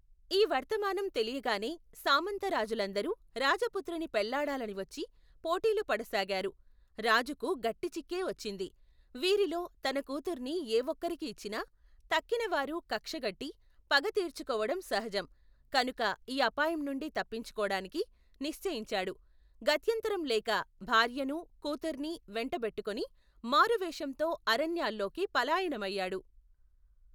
ఈ వర్తమానం తెలియగానే, సామంత రాజులందరూ, రాజపుత్రిని పెళ్ళాడాలని వచ్చి, పోటీలుపడసాగారు, రాజుకు, గట్టి చిక్కే వచ్చింది, వీరిలో, తన కూతుర్ని ఏ ఒకరికి ఇచ్చినా, తక్కిన వారు, కక్షగట్టి, పగతీర్చుకోవడం సహజం, కనుక, ఈ అపాయంనుండి తప్పించుకోడానికి, నిశ్చయించాడు, గత్యంతరం లేక, భార్యనూ, కూతుర్నీ, వెంటబెట్టుకుని, మారువేషంతో, అరణ్యాల్లోకి పలాయనమయ్యాడు.